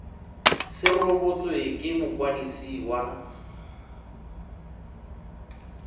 se rebotswe ke mokwadisi wa